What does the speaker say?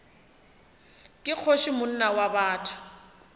ke kgoši monna wa botho